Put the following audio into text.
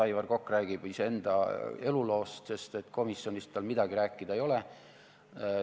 Aivar Kokk räägib iseenda eluloost, sest komisjonist tal midagi rääkida ei ole.